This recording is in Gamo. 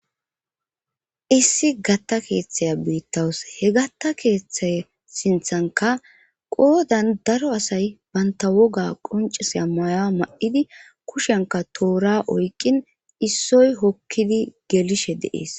issi gatta keeththaya biittawus he gatta keeththay sinthanka qoodan daro asay banta woga qoncisya maya ma7idi kushenka toora oykqin issoy hokkidi gelishe deees